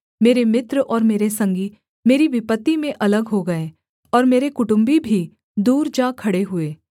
मेरे मित्र और मेरे संगी मेरी विपत्ति में अलग हो गए और मेरे कुटुम्बी भी दूर जा खड़े हुए